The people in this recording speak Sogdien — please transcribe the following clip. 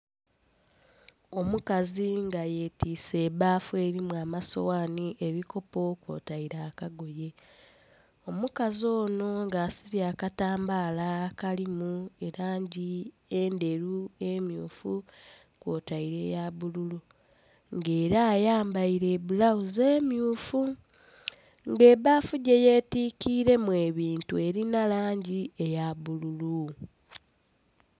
Omukazi nga yetiise ebbafu elimu amasoghani, ebikopo kwotaire akagoye, omukazi ono nga asibye akatambaala akalimu elangi endheru, emmyufu, kwotaire eya bbululu. Ng'era ayambaire bbulawuzi emmyufu. Ng'ebbafu gyeyetikilemu ebintu, elinha langi eya bbululu.